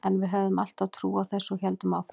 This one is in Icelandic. En við höfðum alltaf trú á þessu og héldum áfram.